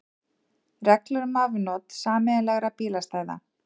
Reglur um afnot sameiginlegra bílastæða.